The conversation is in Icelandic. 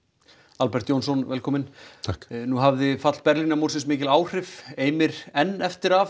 Albert Jónsson velkominn nú hafði fall Berlínarmúrsins mikil áhrif eimir enn eftir af